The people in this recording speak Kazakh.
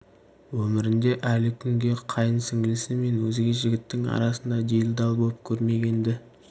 өмірінде әлі күнге қайын сіңлісі мен өзге жігіттің арасына делдал боп көрмеген-ді